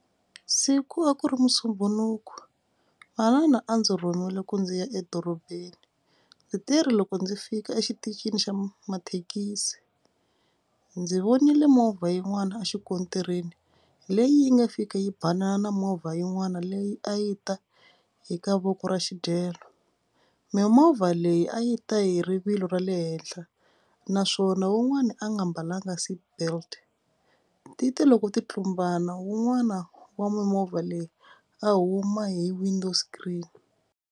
Siku a ku ri musumbhunuku manana a ndzi rhumiwile ku ndzi ya edorobeni. Ndzi teri loko ndzi fika exitichini xa mathekisi ndzi vonile movha yin'wana a xikontiri leyi yi nga fika yi banana na movha yin'wana leyi a yi ta eka voko ra xidyelo. Mimovha leyi a yi ta hi rivilo ra le henhla naswona wun'wani a nga mbalanga seatbelt. Ti te loko ti tlumbana wun'wana wa mimovha leyi a huma hi window screen.